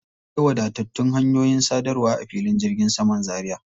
Akwai wadatattun hanyoyin sadarwa a filin jirgin saman Zaria.